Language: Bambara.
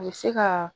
A bɛ se ka